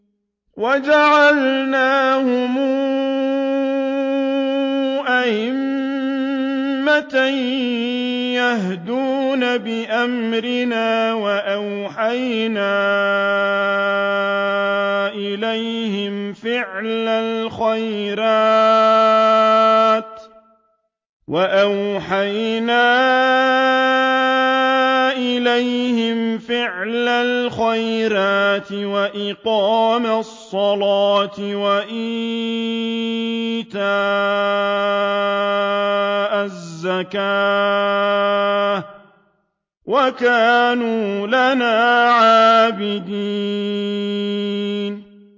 وَجَعَلْنَاهُمْ أَئِمَّةً يَهْدُونَ بِأَمْرِنَا وَأَوْحَيْنَا إِلَيْهِمْ فِعْلَ الْخَيْرَاتِ وَإِقَامَ الصَّلَاةِ وَإِيتَاءَ الزَّكَاةِ ۖ وَكَانُوا لَنَا عَابِدِينَ